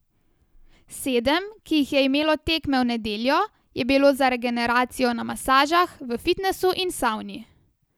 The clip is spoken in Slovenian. Sedem, ki jih je imelo tekme v nedeljo, je bilo za regeneracijo na masažah, v fitnesu in savni.